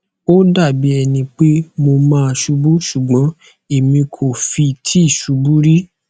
ó dà bí ẹni pé mo máa ṣubú ṣùgbọn èmi kò fi ti ṣubú rí